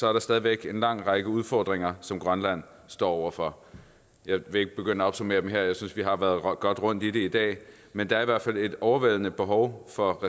er der stadig væk en lang række udfordringer som grønland står over for jeg vil ikke begynde at opsummere dem her jeg synes at vi har været godt rundt i det i dag men der er i hvert fald et overvældende behov for